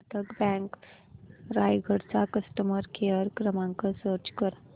Karnataka bank Raigad चा customer care क्रमांक search कर